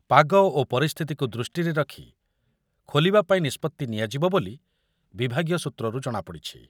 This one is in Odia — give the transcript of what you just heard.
ପାଗ ଓ ପରିସ୍ଥିତିକୁ ଦୃଷ୍ଟିରେ ରଖି ଖୋଲିବା ପାଇଁ ନିଷ୍ପତ୍ତି ନିଆଯିବ ବୋଲି ବିଭାଗୀୟ ସୂତ୍ରରୁ ଜଣାପଡ଼ିଛି।